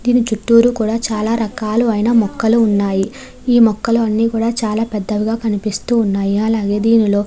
దీని చుట్టూరు కూడా చాలా రకాలు అయిన మొక్కలు ఉన్నాయి ఈ మొక్కలు అన్ని కూడా చాలా పెద్దవి గ కనిపిస్తూ ఉన్నాయి అలాగే దీనిలో --